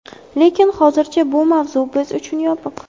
Lekin hozircha bu mavzu biz uchun yopiq.